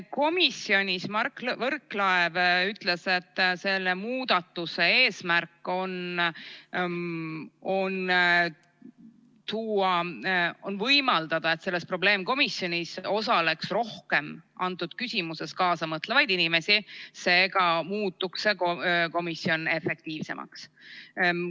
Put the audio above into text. Komisjonis Mart Võrklaev ütles, et selle muudatuse eesmärk on võimaldada probleemkomisjonis osaleda rohkem selles küsimuses kaasa mõtlevatele inimestel, seega muutuks see komisjon efektiivsemaks.